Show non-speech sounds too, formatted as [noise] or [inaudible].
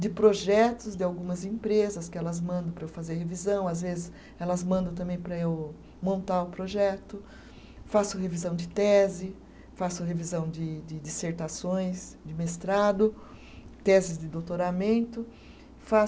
de projetos de algumas empresas que elas mandam para eu fazer revisão, às vezes elas mandam também para eu montar o projeto, faço revisão de tese, faço revisão de de dissertações, de mestrado, teses de doutoramento [unintelligible]